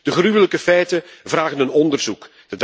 De gruwelijke feiten vragen een onderzoek.